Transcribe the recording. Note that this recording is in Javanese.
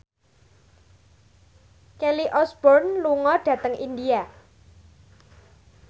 Kelly Osbourne lunga dhateng India